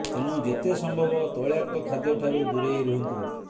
ତେଣୁ ଯେତେ ସମ୍ଭବ ତୈଳାକ୍ତ ଖାଦ୍ୟ ଠାରୁ ଦୂରେଇ ରୁହନ୍ତୁ